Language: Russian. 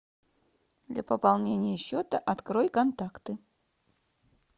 для пополнения счета открой контакты